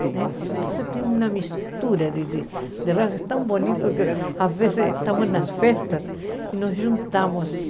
Né então tem uma mistura de raças tão bonita que às vezes estamos nas festas e nos juntamos.